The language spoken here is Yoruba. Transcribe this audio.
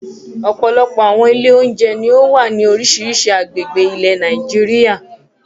Ọ̀pọ̀lọpọ̀ àwọn ilé-oúnjẹ ni ó wà ní oríṣiríṣi agbègbè ilẹ̀ Nàìjíríà.